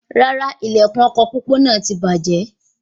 Rárá, ilẹkùn ọkọ pópó náà tí bàjẹ́